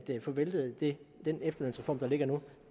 få væltet den efterlønsreform der ligger nu